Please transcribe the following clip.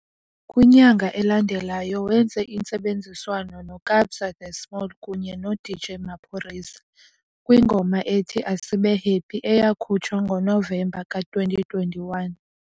Kwinyanga elandelayo wenze intsebenziswano noKabza de Small kunye noDJ Maphorisa kwingoma ethi "Asibe Happy" eyakhutshwa ngoNovemba ka-2021.